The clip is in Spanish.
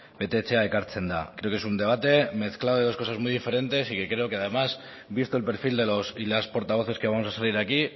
betetzea ekartze da creo que es un debate mezclado de dos cosas muy diferentes y creo que además visto el perfil de los y las portavoces que vamos a salir aquí